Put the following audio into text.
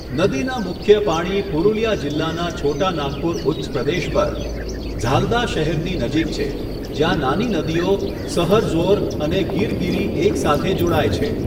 નદીના મુખ્ય પાણી પુરુલિયા જિલ્લાના છોટા નાગપુર ઉચ્ચપ્રદેશ પર, ઝાલ્દા શહેરની નજીક છે, જ્યાં નાની નદીઓ સહરઝોર અને ગીરગીરી એક સાથે જોડાય છે.